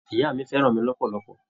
Ìyá mi fẹ́ràn mi lọ́pọ̀lọpọ̀.